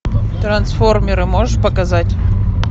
трансформеры можешь показать